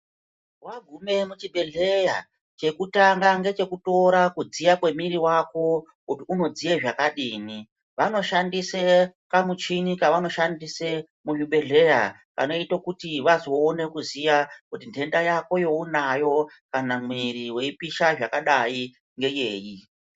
Wagume muchibhehleya chekutanga ngechekutora kudziya kwemwiri wako kuti unodziya zvakadini vanoshandise kamuchini kavanoshandise muzvibhehleya kanoite kuti vazoone kuziya kuti nhenda yako yeunayo kana mwiri uchipisha zvakadai ngeyeyi.